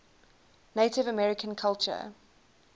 native american culture